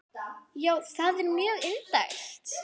Já, það er mjög indælt.